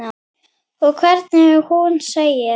Og hvernig hún segir